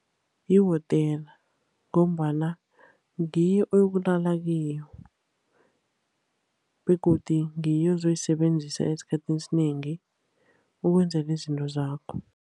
Yihotela, ngombana ngiyo oyokulala kiyo, begodu ngiyo ozoyisebenzisa esikhathini esinengi, ukwenzela izinto zakho.